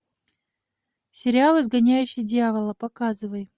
сериал изгоняющий дьявола показывай